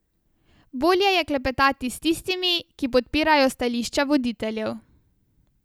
Bolje je klepetati s tistimi, ki podpirajo stališča voditeljev.